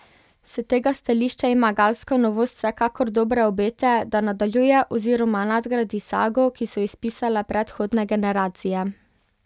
S tega stališča ima galska novost vsekakor dobre obete, da nadaljuje oziroma nadgradi sago, ki so jo spisale predhodne generacije.